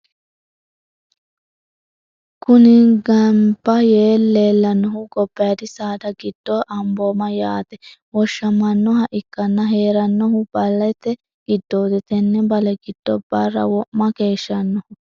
Kuni ganiba yee lelanohu gobayidi sada gido abooma yaateni woshamanoha ikana heranohuno balete gidoti tene balle gido bara woma keshanoho.